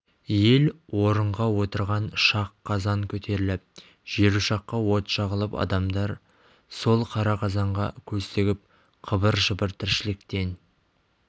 ел орынға отырған шақ қазан көтеріліп жер ошаққа от жағылып адамдар сол қара қазанға көз тігіп қыбыр-жыбыр тіршіліктен